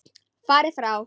Farið frá!